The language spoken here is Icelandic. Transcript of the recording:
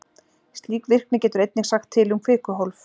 Slík virkni getur einnig sagt til um kvikuhólf.